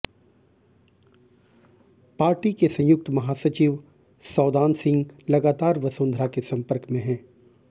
party के संयुक्त महासचिव सौदान सिंह लगातार वसुंधरा के संपर्क में है